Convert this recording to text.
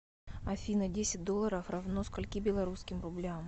афина десять долларов равно скольки белорусским рублям